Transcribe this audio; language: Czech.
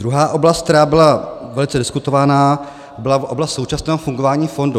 Druhá oblast, která byla velice diskutovaná, byla oblast současného fungování fondu.